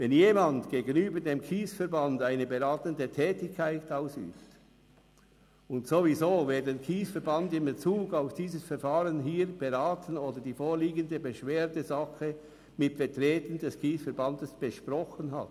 Wenn jemand gegenüber dem KSE Bern eine beratende Tätigkeit ausübt und erst recht, wenn jemand den KSE Bern in Bezug auf dieses Verfahren hier beraten oder die vorliegende Beschwerdesache mit Vertretern des KSE Bern besprochen hat.